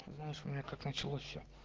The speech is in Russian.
знаешь у меня как началось все